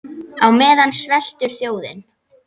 Á meðan sveltur þjóðin.